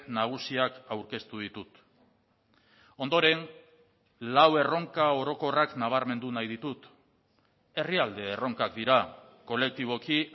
nagusiak aurkeztu ditut ondoren lau erronka orokorrak nabarmendu nahi ditut herrialde erronkak dira kolektiboki